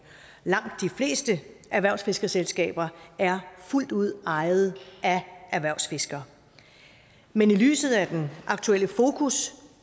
langt de fleste erhvervsfiskerselskaber er fuldt ud ejet af erhvervsfiskere men i lyset af den aktuelle fokus